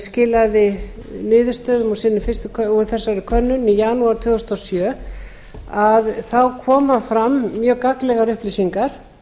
skilaði niðurstöðum úr þessari könnun í janúar tvö þúsund og sjö koma fram mjög gagnlegar upplýsingar